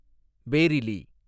Bareilly